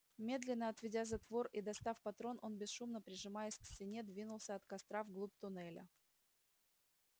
медленно отведя затвор и дослав патрон он бесшумно прижимаясь к стене двинулся от костра в глубь туннеля